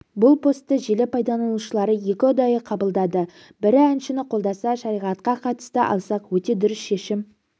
бұл постты желі пайдаланушылары екі ұдайы қабылдады бірі әншіні қолдаса шариатқа қатысты алсақ өте дұрыс шешім